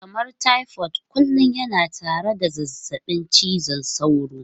Kamar typhoid kullum yana tare da zazzabin cizon sauro.